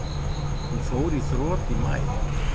Hún fór í þrot í maí.